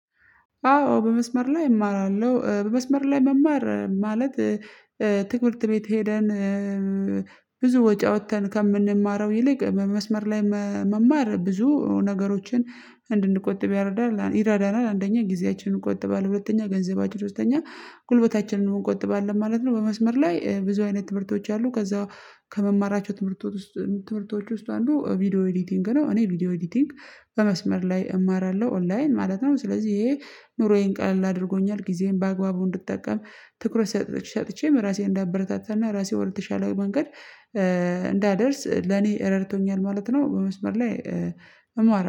አዎ በመስመር ላይ እማራለሁ በመስመር ላይ መማር ማለት ትምህርት ቤት ሄደን ብዙ ወጪ አዉተን ከምንማረው ይልቅ መስመር ላይ መማር ብዙ ነገሮችን እንድንቆጥብ ያረዳናል ይረዳናል አንደኛ ጊዜያችንን እንቆጥባለን ሁለተኛ ገንዘብች ሁለተኛ ጉልበታችንን እንቆጥባለን ማለት ነው። በመስመር ላይ ብዙ ትምህርቶች አሉ ከዛ ከምማራቸው ትምህርቶች ውስጥ ትምህርቶች ውስጥ አንዱ ቪዲዮ ኤዲቲንግ ነው። እኔ ቪዲዮ ኤዲቲንግ በመስመር ላይ እማራለሁ ኦንላይን ማለት ነው። ስለዚህ ይሄ ኑሮዬን ቀለል አድርጎኛል ጊዜዬን በአግባቡ እንድትጠቀም ትኩረት ሰጥቼም ራሴን እንዳበረታታና ራሴን ወደተሻለው መንገድ እንዳደርስ ለኔ ረድቶኛል ማለት ነው። በመስመር ላይ እማራለሁ